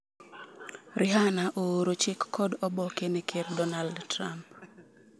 Rihanna ooro chik kod oboke ne ker Donald Trump.